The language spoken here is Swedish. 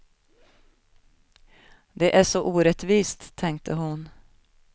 Det är så orättvist, tänkte hon.